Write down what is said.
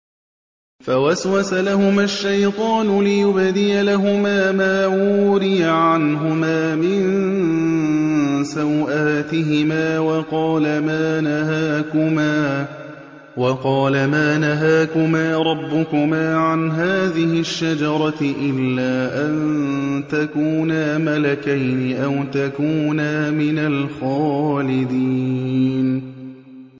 فَوَسْوَسَ لَهُمَا الشَّيْطَانُ لِيُبْدِيَ لَهُمَا مَا وُورِيَ عَنْهُمَا مِن سَوْآتِهِمَا وَقَالَ مَا نَهَاكُمَا رَبُّكُمَا عَنْ هَٰذِهِ الشَّجَرَةِ إِلَّا أَن تَكُونَا مَلَكَيْنِ أَوْ تَكُونَا مِنَ الْخَالِدِينَ